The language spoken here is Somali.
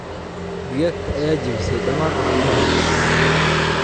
Digaaggta ayaa jabisaay dhammaan ukumihii.